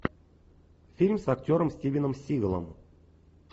фильм с актером стивеном сигалом